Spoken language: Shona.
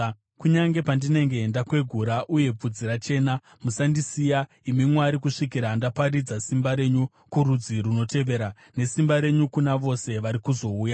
Kunyange pandinenge ndakwegura uye bvudzi rachena, musandisiya, imi Mwari, kusvikira ndaparidza simba renyu kurudzi runotevera, nesimba renyu kuna vose vari kuzouya.